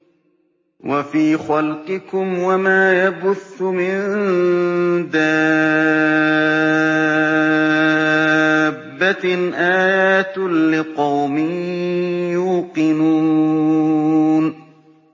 وَفِي خَلْقِكُمْ وَمَا يَبُثُّ مِن دَابَّةٍ آيَاتٌ لِّقَوْمٍ يُوقِنُونَ